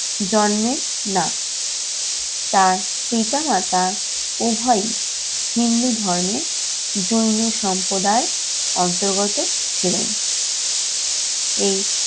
জন্মের না তার পিতা-মাতা উভয়ই হিন্দু ধর্মের যৌন সম্প্রদায়ের অন্তর্গত ছিলেন। এই